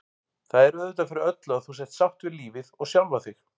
Það er auðvitað fyrir öllu að þú sért sátt við lífið og sjálfa þig.